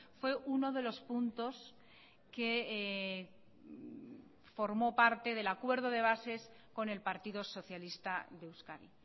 fue uno de los puntos que formó parte del acuerdo de bases con el partido socialista de euskadi